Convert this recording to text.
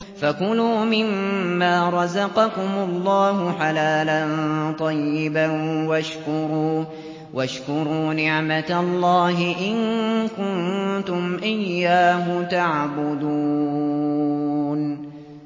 فَكُلُوا مِمَّا رَزَقَكُمُ اللَّهُ حَلَالًا طَيِّبًا وَاشْكُرُوا نِعْمَتَ اللَّهِ إِن كُنتُمْ إِيَّاهُ تَعْبُدُونَ